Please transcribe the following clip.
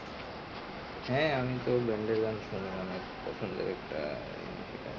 হ্যা আমি তো band এর গান শুনি অনেক পছন্দের একটা জিনিস এটা আহ